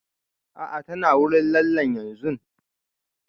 A'a ta na wurin lallen yanzun